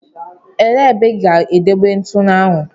Elee ebe ị ga-edebe ntụnụ ahụ?